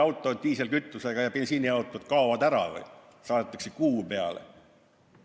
Kas need diislikütusega ja bensiiniautod kaovad ära või saadetakse need Kuu peale?